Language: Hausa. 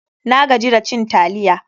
Na gaji da cin taliya.